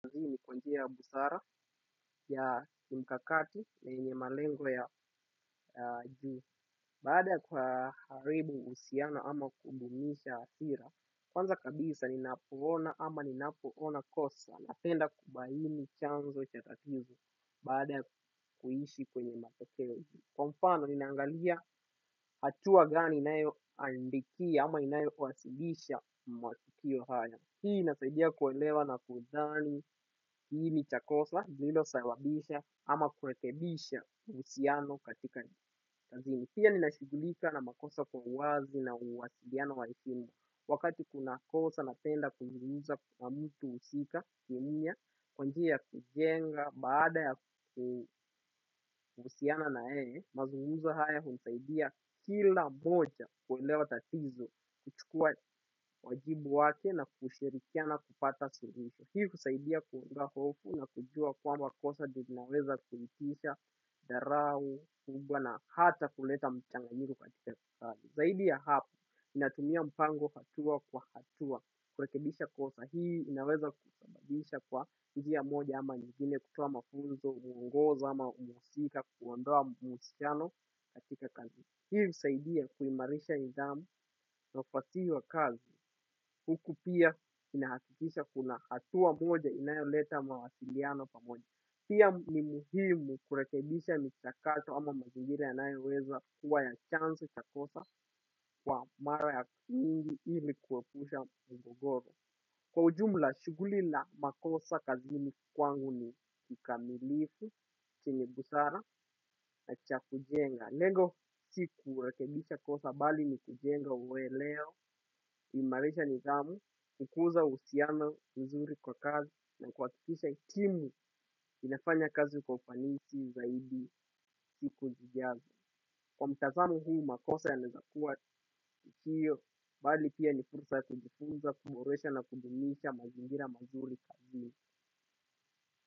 Kwa njia ya busara ya mikakati na yenye malengo ya juu. Baada kuharibu usiano ama kudumisha hasira. Kwanza kabisa ninapo ona kosa napenda kubaini chanzo cha tatizo. Baada kuishi kwenye matokeo. Kwa mfano ni na angalia hatua gani inayo andikia ama inayo wasilisha matukio haya. Hii inasaidia kuelewa na kudhani, kiini cha kosa, iliyo sababisha, ama kurekebisha uhusiano katika ni kazini. Hii ni nashugulika na makosa kwa uwazi na uwasiliano watimu. Wakati kuna kosa na penda kuzungumza kwa mtu husika, kwa njia ya kujenga, baada ya kuhusiana na yeye, mazungumzo haya husaidia kila mmoja kuelewa tatizo kuchukua wajibu wake na kushirikiana kupata suluhisho. Hii husaidia kuona hofu na kujua kwamba kosa linaweza kuitisha dharau, kubwa na hata kuleta mchanganyiko katika kutali. Zaidi ya hapo, ninatumia mpango hatua kwa hatua kurekebisha kosa. Kwa hii inaweza kutambadisha kwa njia moja ama nyingine kutoa mafunzo, huongoza ama uhusika, kuondoa muhusiano katika kazi. Hii husaidia kuimarisha nidhamu na kwa tiyo wa kazi. Huku pia inahakikisha kuna hatua moja inayo leta mawasiliano pamoja. Pia ni muhimu kurekebisha michakato ama mazingira yanayoweza kuwa ya chanzo cha kosa kwa mara ya kungi ili kuwepusha mgogoro. Kwa ujumla, shughuli la makosa kazi ni kwangu ni kikamilifu, chenye busara na cha kujenga. Lengo si kurekebisha kosa bali ni kujenga uweleo, kuimarisha nidhamu, kukuza uhisiana uzuri kwa kazi na kuhakikisha timu inafanya kazi kwa ufanisi zaidi siku zijazo. Kwa mtazamo huu makosa yanaezakua, hio bali pia ni fursa ya kujifunza na kudumisha mazingira mazuri kazini.